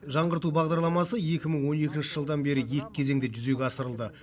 жаңғырту бағдарламасы екі мың он екінші жылдан бері екі кезеңде жүзеге асырылды